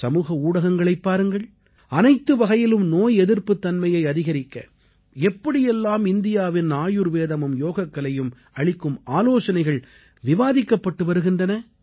சமூக ஊடகங்களைப் பாருங்கள் அனைத்து வகையிலும் நோய் எதிர்ப்புத் தன்மையை அதிகரிக்க எப்படியெல்லாம் இந்தியாவின் ஆயுர்வேதமும் யோகக்கலையும் அளிக்கும் ஆலோசனைகள் விவாதிக்கப்பட்டு வருகின்றன